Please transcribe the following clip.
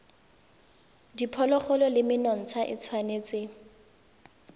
diphologolo le menontsha e tshwanetse